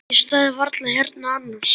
Ég stæði varla hérna annars.